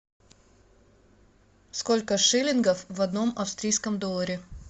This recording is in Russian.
сколько шиллингов в одном австрийском долларе